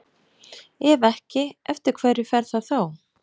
Ef ekki, eftir hverju fer það þá?